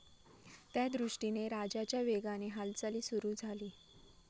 त्यादृष्टीने राजाच्या वेगाने हालचाली सुरु झाली.